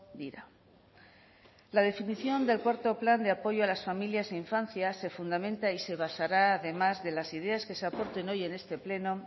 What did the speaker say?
dira la definición del cuarto plan de apoyo a las familias e infancia se fundamente y se basará además de las ideas que se aporten hoy en este pleno